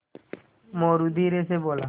मोरू धीरे से बोला